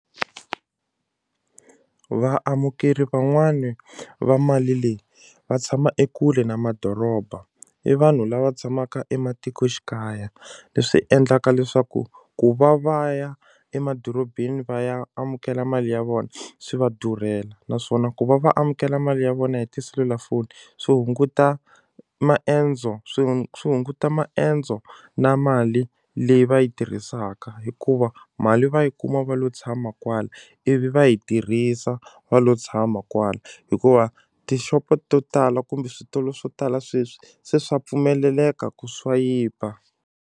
Vaamukeri van'wani va mali leyi va tshama ekule na madoroba i vanhu lava tshamaka ematikoxikaya leswi endlaka leswaku ku va va ya emadorobeni va ya amukela mali ya vona swi va durhela naswona ku va va amukela mali ya vona hi tiselulafoni swi hunguta maendzo swi swi hunguta maendzo na mali leyi va yi tirhisaka hikuva mali va yi kuma va lo tshama kwala ivi va yi tirhisa va lo tshama kwala hikuva tixopo to tala kumbe switolo swo tala sweswi se swa pfumeleleka ku swayipa.